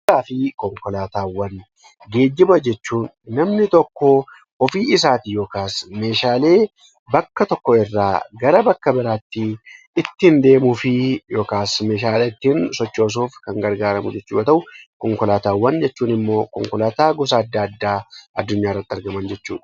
Geejjiba jechuun namni tokko ofii isaatiin yookiin meeshaalee bakka tokkoo gara bakka biraatti ittiin deemuuf yookiin ittiin sochoosuuf kan gargaaramu yoo ta'u konkolaataawwan jechuun immoo konkolaataawwan adda addaa addunyaa irratti argaman jechuudha.